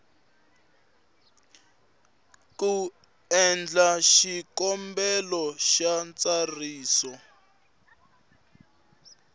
ku endla xikombelo xa ntsariso